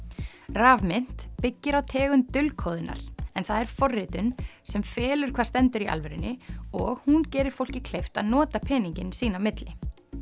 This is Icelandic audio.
rafmynt byggir á tegund dulkóðunar en það er forritun sem felur hvað stendur í alvörunni og hún gerir fólki kleift að nota peningana sín á milli